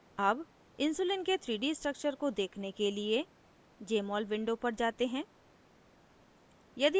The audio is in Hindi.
अब insulin के 3d structure को देखने के लिए jmol window पर जाते हैं